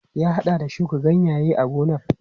Ya haɗa da shuka ganyaye a gonar.